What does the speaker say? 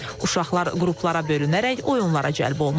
Uşaqlar qruplara bölünərək oyunlara cəlb olunurlar.